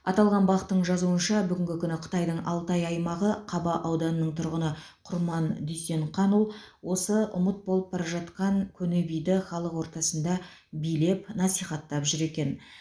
аталған бақ тың жазуынша бүгінгі күні қытайдың алтай аймағы қаба ауданының тұрғыны құрман дүйсенқанұл осы ұмыт болып бара жатқан көне биді халық ортасында билеп насихаттап жүр екен